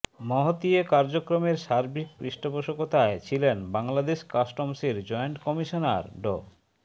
মহতী এ কার্যক্রমের সার্বিক পৃষ্ঠপোষকতায় ছিলেন বাংলাদেশ কাস্টমসের জয়েন্ট কমিশনার ড